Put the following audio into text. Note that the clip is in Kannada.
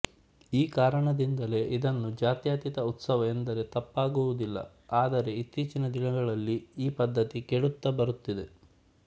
ಈ ಕಾರಣದಿಂದಲೇ ಇದನ್ನು ಜಾತ್ಯತೀತ ಉತ್ಸವ ಎಂದರೆ ತಪ್ಪಾಗುವಿದಿಲ್ಲ ಆದರೆ ಇತ್ತೀಚಿನ ದಿನಗಳಲ್ಲಿ ಈ ಪದ್ದತಿ ಕೆಡುತ್ತಾ ಬರುತ್ತಿದೆ